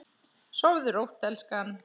Sofðu rótt elskan.